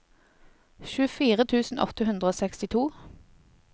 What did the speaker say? tjuefire tusen åtte hundre og sekstito